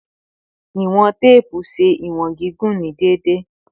Iwọn teepu ṣe iwọn gigun ni deede